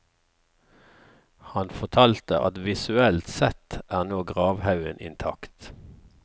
Han fortalte at visuelt sett er nå gravhaugen intakt.